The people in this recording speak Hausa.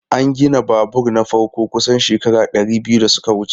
An gina babur na farko kusan shekaru dari biyu da suka wuce.